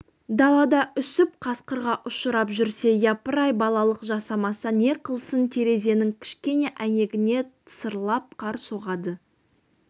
далада үсіп қасқырға ұшырап жүрсе япырай балалық жасамаса не қылсын терезенің кішкене әйнегіне тысырлап қар соғады